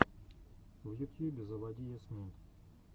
в ютьюбе заводи ясмин